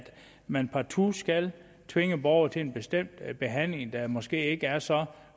man partout skal tvinge borgerne til en bestemt behandling der måske alligevel ikke er så